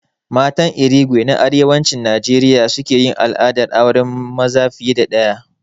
Matan Irigwe na Arewacin Najeriya suke yin al'adar auren maza fiye da ɗaya